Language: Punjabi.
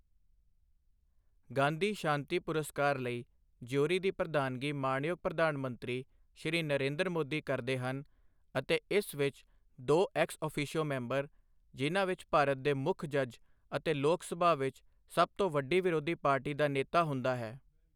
ਗਾਂਧੀ ਸ਼ਾਂਤੀ ਪੁਰਸਕਾਰ ਲਈ ਜਿਊਰੀ ਦੀ ਪ੍ਰਧਾਨਗੀ ਮਾਣਯੋਗ ਪ੍ਰਧਾਨ ਮੰਤਰੀ ਸ਼੍ਰੀ ਨਰੇਂਦਰ ਮੋਦੀ ਕਰਦੇ ਹਨ ਅਤੇ ਇਸ ਵਿੱਚ ਦੋ ਐਕਸ ਓਫੀਸ਼ੋ ਮੈਂਬਰ, ਜਿਹਨਾਂ ਵਿੱਚ ਭਾਰਤ ਦੇ ਮੁੱਖ ਜੱਜ ਅਤੇ ਲੋਕ ਸਭਾ ਵਿੱਚ ਸਭ ਤੋਂ ਵੱਡੀ ਵਿਰੋਧੀ ਪਾਰਟੀ ਦਾ ਨੇਤਾ ਹੁੰਦਾ ਹੈ।